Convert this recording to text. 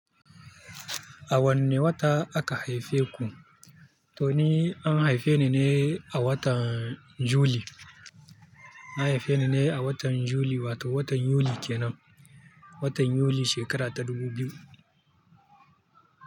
A wanne wata aka haife ku? To ni, an haife ni ne a watan Juli. An haife ni ne a watan Juli, wato watan Yuli kenan. Watan Yuli shekara ta dubu biyu.